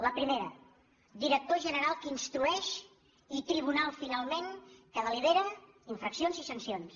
la pri·mera director general que instrueix i tribunal final·ment que delibera infraccions i sancions